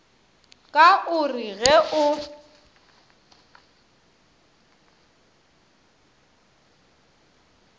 ka o re ge o